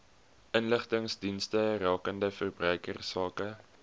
inligtingsdienste rakende verbruikersake